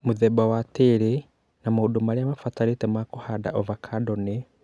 Mũthemba wa tĩĩri na maũndũ marĩa mabatarĩte ma kũhanda Avocado nĩ;